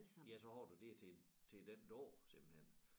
Ja så har du dér til til den dag simpelthen